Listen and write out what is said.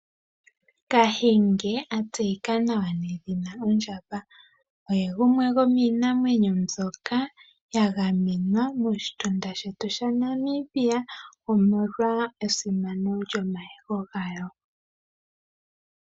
Kahenge atseyeki nawa nedhina Ondjamba oye gumwe go miinamwenyo mbyoka ya gamenwa moshitunda shetu shaNamibia omolwa esimano lyo mayego gayo.